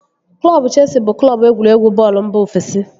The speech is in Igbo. Klọbu Cheesi bụ Klọbu egwuregwu bọọlụ mba ofesi